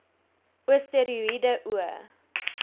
o steroïede o